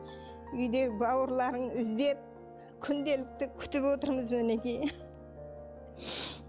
үйдегі бауырларың іздеп күнделікті күтіп отырмыз мінекей